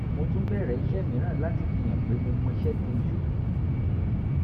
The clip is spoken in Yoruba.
mo tún bẹ̀rẹ̀ iṣẹ́ mìíràn láti fi hàn pé mo mọṣẹ́ dunjú